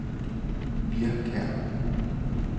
Hvirrekær